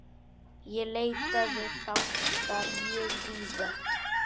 Ég leitaði fanga mjög víða.